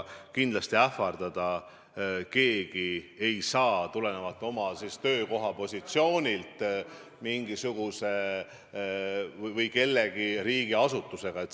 Kindlasti ei saa keegi tulenevalt oma töökoha positsioonist kedagi ähvardada mingisuguse riigiasutuse sekkumisega.